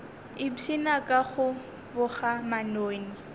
ipshina ka go boga manoni